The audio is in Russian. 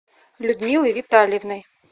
людмилой витальевной